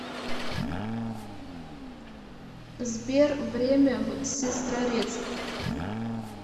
сбер время в сестрорецк